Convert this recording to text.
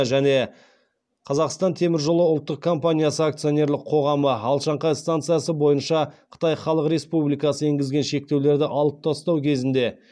және қазақстантеміржолы ұлттық компания акционерлік қоғамы алашаңқай станциясы бойынша қытай халық республикасының енгізген шектеулерді алып тастау кезінде